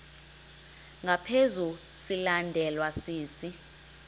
ngaphezu silandelwa sisi